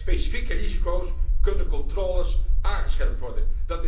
Bij specifieke risico's kunnen controles aangescherpt worden.